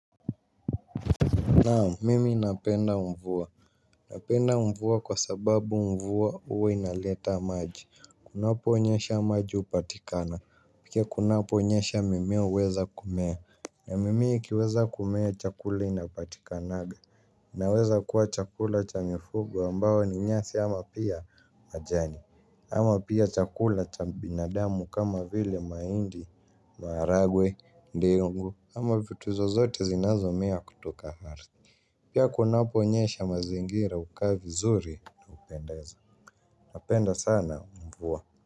Naam mimi napenda mvua. Napenda mvua kwa sababu mvua huwa inaleta maji. Kunaponyesha maji hupatikana. Pia kunaponyesha mimea huweza kumea. Na mimea ikiweza kumea chakula inapatikanga. Inaweza kuwa chakula cha mifugo ambayo ni nyasi ama pia majani. Ama pia chakula cha binadamu kama vile mahindi, maharagwe, ndengu ama vitu zozote zinazomea kutoka ardhi. Pia kunaponyesha mazingira hukaa vizuri na hupendeza. nlNapenda sana mvua.